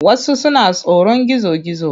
Wasu suna tsoron gizo-gizo.